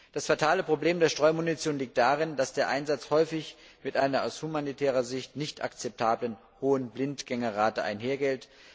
Das fatale Problem der Streumunition liegt darin, dass der Einsatz häufig mit einer aus humanitärer Sicht nicht akzeptablen hohen Blindgängerrate einhergeht.